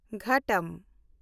ᱜᱷᱟᱴᱚᱢ